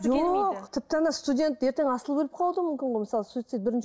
жоқ тіпті студент ертең асылып өліп қалуы да мүмкін ғой мысалы суйцид бірінші